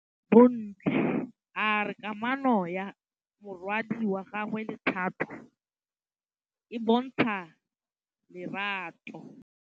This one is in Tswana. Bontle a re kamanô ya morwadi wa gagwe le Thato e bontsha lerato.